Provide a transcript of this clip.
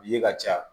Ye ka ca